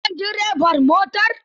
Ka san direban motar?